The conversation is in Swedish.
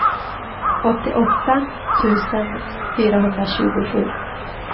åttioåtta tusen fyrahundratjugosju